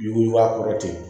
Yuguyugu a kɔrɔ ten